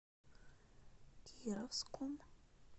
кировском